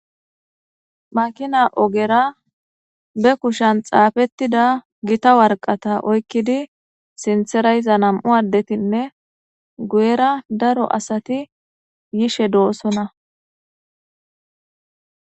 Makina ogera be kushan xaafettida gita warqata oykkidi sinthera iza nam7u addetinne guyera daro asati yishe doossona.